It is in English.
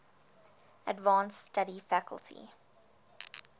advanced study faculty